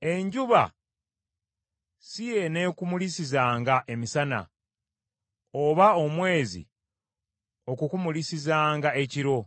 Enjuba si yeenekumulisizanga emisana, oba omwezi okukumulisizanga ekiro.